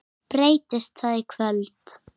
Breytist það í kvöld?